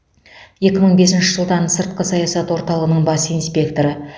екі мың бесінші жылдан сыртқы саясат орталғының бас инспекторы